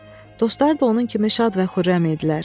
Dostları da onun kimi şad və xürrəm idilər.